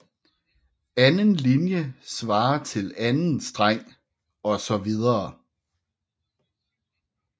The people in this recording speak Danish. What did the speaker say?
Anden linje svarer til anden streng osv